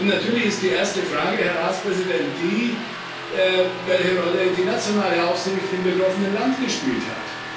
Natürlich ist die erste Frage, Herr Ratspräsident, die, welche Rolle die nationale Aufsicht im betroffenen Land gespielt hat.